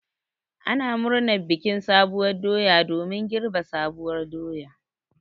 Ana murnar bikin sabuwar doya domin girbi sabuwar doya.